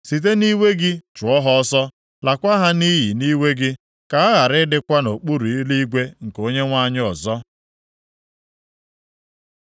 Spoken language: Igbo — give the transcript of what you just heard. Site nʼiwe gị chụọ ha ọsọ. Laakwa ha nʼiyi nʼiwe gị, ka ha ghara ịdịkwa nʼokpuru eluigwe nke Onyenwe anyị ọzọ.